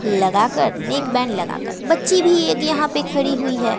लगाकर नेकबैण्ड लगाकर बच्ची भी ये इक यहां पर खड़ी हुई है।